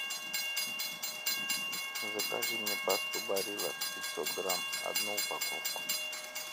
закажи мне пасту барилла пятьсот грамм одну упаковку